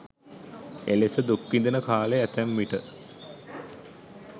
එලෙස දුක් විඳින කාලය ඇතැම්විට